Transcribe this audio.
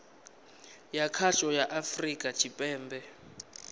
ya khasho ya afurika tshipembe